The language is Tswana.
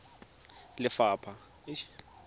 lephatla